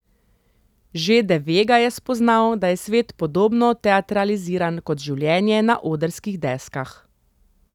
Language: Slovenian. Že de Vega je spoznal, da je svet podobno teatraliziran kot življenje na odrskih deskah.